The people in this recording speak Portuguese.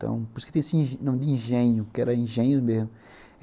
Por isso que tem esse nome de engenho, porque era engenho mesmo.